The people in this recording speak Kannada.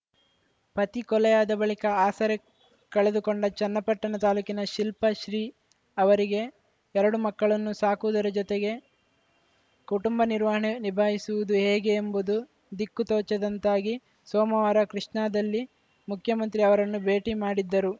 ಪತಿ ಕೊಲೆಯಾದ ಬಳಿಕ ಆಸರೆ ಕಳೆದುಕೊಂಡ ಚನ್ನಪಟ್ಟಣ ತಾಲೂಕಿನ ಶಿಲ್ಪಶ್ರೀ ಅವರಿಗೆ ಎರಡು ಮಕ್ಕಳನ್ನು ಸಾಕುವುದರ ಜತೆಗೆ ಕುಟುಂಬ ನಿರ್ವಹಣೆ ನಿಭಾಯಿಸುವುದು ಹೇಗೆ ಎಂಬುದು ದಿಕ್ಕು ತೋಚದಂತಾಗಿ ಸೋಮವಾರ ಕೃಷ್ಣಾದಲ್ಲಿ ಮುಖ್ಯಮಂತ್ರಿ ಅವರನ್ನು ಭೇಟಿ ಮಾಡಿದ್ದರು